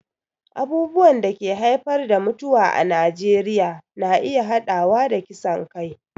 Abubuwan da ke haifar da mutuwa a Najeriya na iya haɗawa da kisan kai